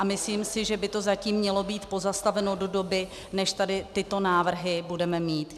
A myslím si, že by to zatím mělo být pozastaveno do doby, než tady tyto návrhy budeme mít.